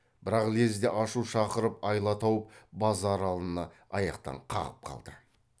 бірақ лезде ашу шақырып айла тауып базаралыны аяқтан қағып қалды